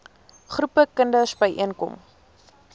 groepe kinders byeenkom